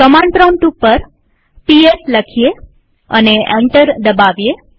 command prompt ઉપર PS લખીએ અને એન્ટર દબાવીએ